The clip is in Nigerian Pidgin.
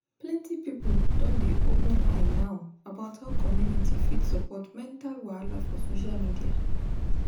plenty people don dey open eye now about how community fit support mental wahala for social media